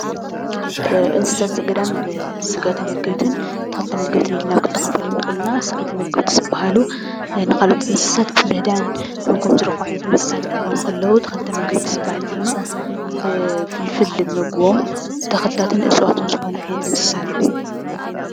እንስሳት ዘገዳም ስጋ ተመገብትን ተኽሊ ተመገብትን ኢልና ኣብ ክልተ ክንፈልዮም ንኽእል ኢና፡፡ ስጋ ተመገብቲ ዝበሃሉ ንካልኦት እንስሳታት ብምህዳን ምግቦም ዝረኽቡ ዓይነታት እንስሳት ክኾኑ ተለዉ ተኽሊ ተመገብቲ ድማ ፍልፍል ምግቦም ተኽልታትን እፅዋታትን ዝኾኑ ዓይነት እንስሳ እዮም፡፡